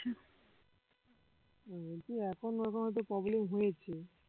বলছি এখন না আমাদের problem হয়েছে